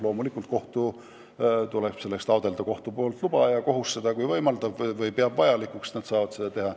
Loomulikult tuleb selleks taotleda kohtu luba, aga kui kohus peab seda vajalikuks, siis nad saavad seda teha.